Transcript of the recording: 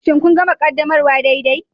Shin kun gama ƙaddamarwa daidai?